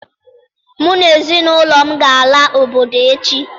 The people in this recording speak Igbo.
Mụ na ezinụlọ m ga-ala obodo echi